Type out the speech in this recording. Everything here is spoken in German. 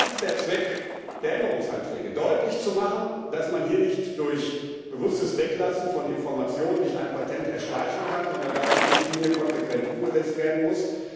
Das ist der Zweck der Änderungsanträge Deutlich zu machen, dass man sich nicht durch bewusstes Weglassen von Informationen ein Patent erschleichen kann, sondern dass die Richtlinie konsequent umgesetzt werden muss.